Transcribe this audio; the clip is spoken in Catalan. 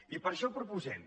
i per això proposem